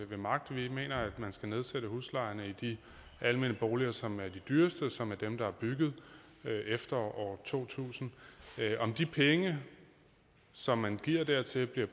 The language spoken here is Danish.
ved magt vi mener at man skal nedsætte huslejerne i de almene boliger som er de dyreste og som er dem der er bygget efter år to tusind om de penge som man giver dertil